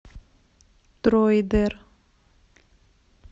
дроидер